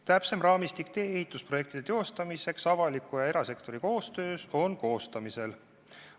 Täpsem raamistik ehitusprojekti teostamiseks avaliku ja erasektori koostööna on koostamisel.